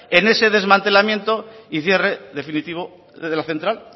en ese desmantelamiento y cierre definitivo de la central